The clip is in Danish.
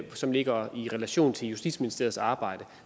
som ligger i relation til justitsministeriets arbejde